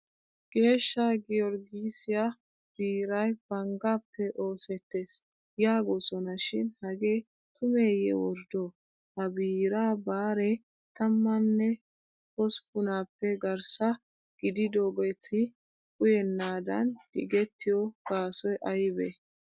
"Geeshsha Giyorgissiyaa biiray banggaappe oosettees" yaagoosona shin hagee tumeeyye worddoo? Ha biiraa baree tammanne hosppunaappe garssa gididoogeeti uyennaadan digettiyo gaasoy aybee?